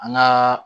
An gaa